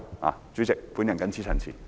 代理主席，我謹此陳辭。